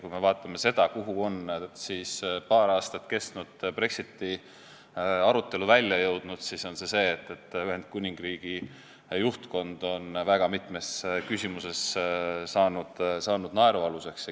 Kui me vaatame seda, kuhu on paar aastat kestnud Brexiti arutelu välja jõudnud, siis näeme, et on juhtunud see, et Ühendkuningriigi juhtkond on väga mitmes küsimuses saanud naerualuseks.